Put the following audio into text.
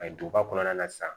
A ye duguba kɔnɔna na sisan